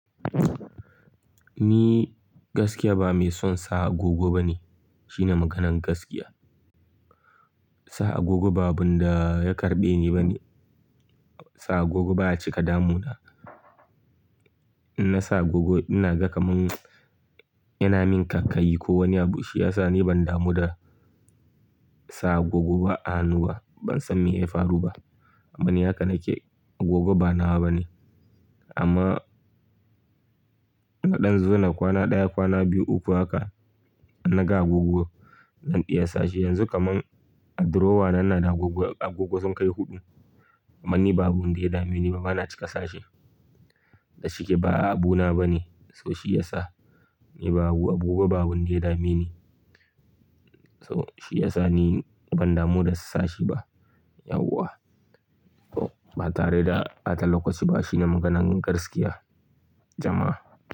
Ni gaskiya ba mai son sa agogo ba ne. Shine maganan gaskiya. Sa agogo ba abinda ya karɓe ni ba ne. Sa agogo ba a cika damu na. In na sa agogo ina ga kaman yana min ƙaiƙayi ko wani abu. Shi ya sa ni ban damu da sa agogo ba a hannu ba. Ban san me ya faru ba. Kuma ni haka nake. Agogo ba nawa ba ne. Amma mu ɗan zo na kwana ɗaya, kwana biyu, uku haka, na ga agogowa na ɗiya sashe. Yanzu kaman a drawer na ina da agogo, agogo sun kai huɗu. Amma ni babu wanda ya dame ni ba, bana cika sashe. Da shike ba'a abu na ba ne. So shi ya sa ni ba agogo babu wanda ya dame ni. So shi ya sa ni ban damu da sashi ba. Yauwa, to ba tare da bata lokaci ba shine maganan gaskiya jama'a.